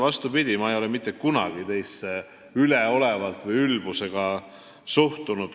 Vastupidi, ma ei ole mitte kunagi teisse üleolevalt või ülbusega suhtunud.